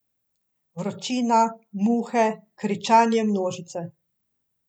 Vročina, muhe, kričanje množice ...